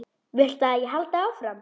Viltu að ég haldi áfram?